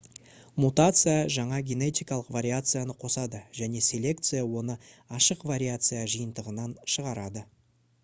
мутация жаңа генетикалық вариацияны қосады және селекция оны ашық вариация жиынтығынан шығарады